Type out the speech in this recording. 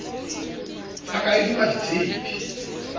ya ka e duma ditshepe